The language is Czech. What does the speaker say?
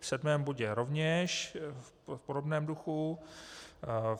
V sedmém bodě rovněž v podobném duchu.